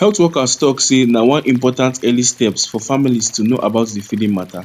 health workers talk seh na one important early steps for families to know about the feeding mata